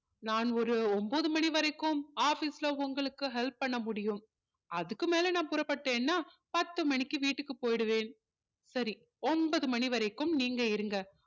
நான் ஒரு ஒன்பது மணி வரைக்கும் office ல உங்களுக்கு help பண்ண முடியும் அதுக்கு மேல நான் புறப்பட்டேன்னா பத்து மணிக்கு வீட்டுக்கு போயிடுவேன் சரி ஒன்பது மணி வரைக்கும் நீங்க இருங்க